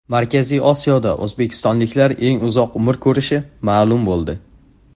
Markaziy Osiyoda o‘zbekistonliklar eng uzoq umr ko‘rishi ma’lum bo‘ldi.